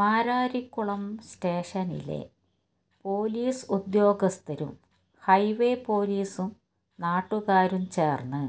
മാരാരിക്കുളം സ്റ്റേഷനിലെ പോലിസ് ഉദ്യോഗസ്ഥരും ഹൈവേ പോലിസും നാട്ടുകാരും ചേര്ന്ന്